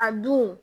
A dun